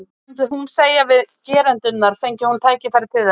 Hvað myndi hún segja við gerendurna, fengi hún tækifæri til?